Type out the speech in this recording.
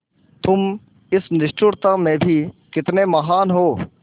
तुम इस निष्ठुरता में भी कितने महान् होते